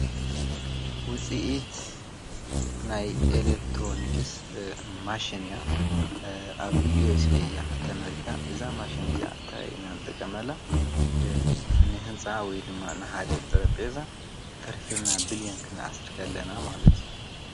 ውፂኢት ናይ ኤለክትሮንክስ ማሽንእያ ኣብ ኤስኤ ያ ተመሪታ እዛ ማሸን እዚኣ እታይ ኢናን ጠ ቀመላ ንሕንፃ ወይ ድማ ንሓደ ጥረጴዛ ፈሪፊርና ብል ዮን ክንኣሥርከለና ማለት እዩ።